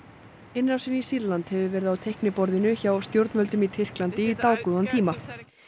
innrásin í Sýrland hefur verið á teikniborðinu hjá stjórnvöldum í Tyrklandi í dágóðan tíma